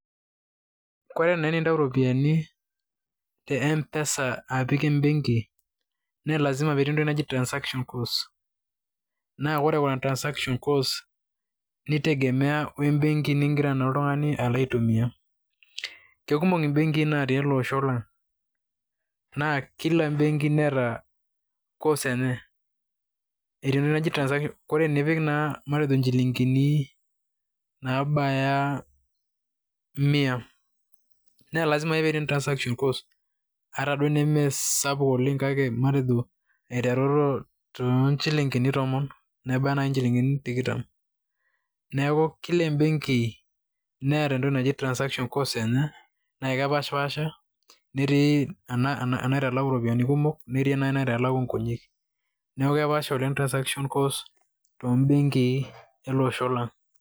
Kore naa tenintayu irropiyiani te mpesa apik imbenki naa lazima petii entoki naji transaction cost naa kore ana transaction cost neitegemea embenki nigira naa oltungani alo itumiiya. Kekumok imbenkii natii ale losho lang naa kila neata cost enye, kore tenipik naa matejo inchilingini nabaaya mia naa lasima ake petii[transaction cost ata duo enemee sapuk oleng kake matejo aiterru too inchilingini tomon nebaya naa inchilingini tikitam, neaku kila embenki neeta entoki naji transaction cost enye naa ekepaashpaasha, netii enaitalak irropiyiani kumok, netii naa enaitalak nkunyii, neaku kepaasha oleng transaction cost too imbenkii aleosho lang.